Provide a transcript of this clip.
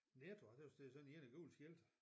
Netto jeg tøs det er sådan ligner gule skilte